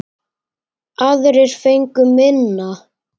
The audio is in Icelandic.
Aðrir fengu minna.